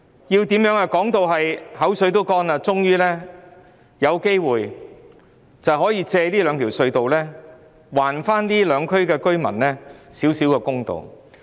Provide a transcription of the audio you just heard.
我們現在說得唇乾舌燥了，才終於有機會藉這兩條隧道還這兩區居民少許公道。